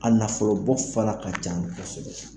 A nafolobɔ fana ka ca kosɛbɛ